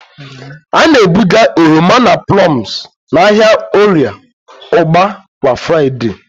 A na-ebuga oroma na plums n'ahịa Orie ugba kwa Fraịde.